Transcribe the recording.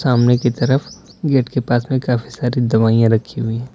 सामने की तरफ गेट के पास में काफी सारी दवाइयां रखी हुई--